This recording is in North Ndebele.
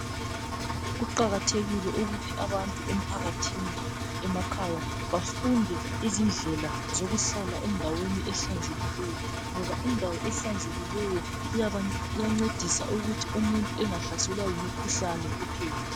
Kuqakathekile ukuthi abantu emphakathini emakhaya bafunde izindlela zokuhlala endaweni ehlanzekileyo ngoba indawo ehlanzekileyo iyancedisa ukuthi umuntu engahlaselwa yimikhuhlane kuphela .